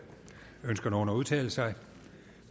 ønsker nogen at udtale sig